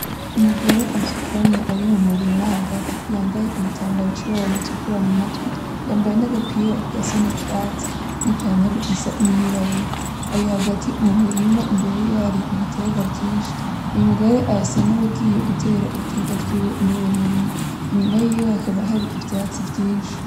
Umugore asutamye ari mu murima hagati yambaye igitambara c'ibara ritukura mu mutwe yambaye n'agapira gasa n'icatsi n'ipantalo isa n'iyirabura. Ari hagati mu murirma imbere yiwe hari ibitegwa vyinshi, uyu mugore arasa n'uwugiye gutera ibitegwa vyiwe muruwo murima iyuma yiwe hakaba hari ivyatsi vyinshi.